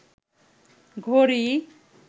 ঘড়ি